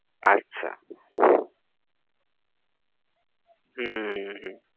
আচ্ছা হম হম হম